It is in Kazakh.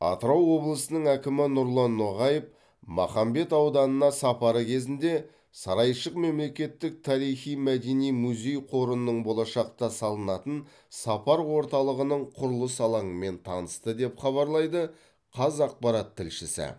атырау облысының әкімі нұрлан ноғаев махамбет ауданына сапары кезінде сарайшық мемлекеттік тарихи мәдени музей қорының болашақта салынатын сапар орталығының құрылыс алаңымен танысты деп хабарлайды қазақпарат тілшісі